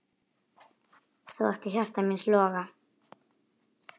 Þú áttir hjarta míns loga.